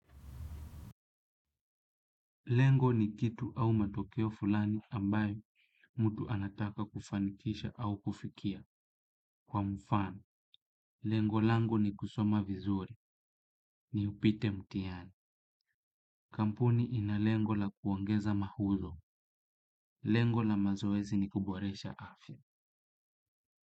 Lengo ni kitu au matokio fulani ambayo mtu anataka kufanikisha au kufikia kwa mfano. Lengo lango ni kusoma vizuri, ni upite mtihani. Kampuni ina lengo la kuongeza mauzo. Lengo la mazoezi ni kuboresha afya.